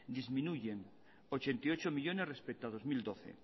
disminuyen ochenta y ocho millónes respecto a dos mil doce